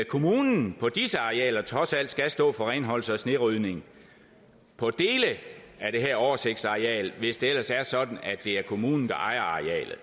kommunen på disse arealer trods alt skal stå for renholdelse og snerydning på dele af det her oversigtsareal hvis det ellers er sådan at det er kommunen der ejer